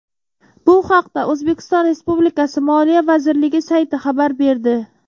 Bu haqda O‘zbekiston Respublikasi Moliya vazirligi sayti xabar berdi .